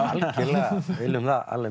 viljum það